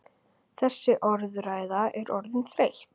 Þessi orðræða er orðin þreytt!